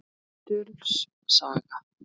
Möttuls saga